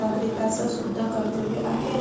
तो पर्यंत ते... होईल कस ??